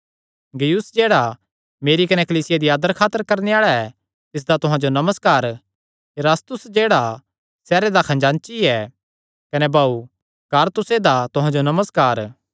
गयुस जेह्ड़ा मेरी कने कलीसिया दी आदर खातर करणे आल़ा ऐ तिसदा तुहां जो नमस्कार इरास्तुस जेह्ड़ा सैहरे दा खजांची ऐ कने भाऊ क्वारतुसे दा तुहां जो नमस्कार